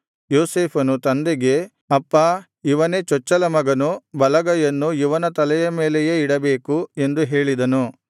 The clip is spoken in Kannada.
ಯೋಸೇಫನು ತಂದೆಗೆ ಅಪ್ಪಾ ಇವನೇ ಚೊಚ್ಚಲ ಮಗನು ಬಲಗೈಯನ್ನು ಇವನ ತಲೆಯ ಮೇಲೆ ಇಡಬೇಕು ಎಂದು ಹೇಳಿದನು